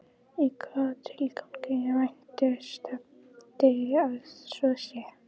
Í hvaða tilgangi vænti stefndi að svo sé?